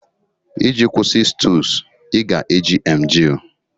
iji kwụsị stools ị ga-eji emgly